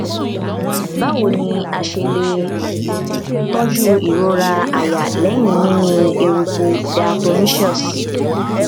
báwo ni a ṣe lè tọjú ìrora àyà lẹyìn mímí eruku diatomaceous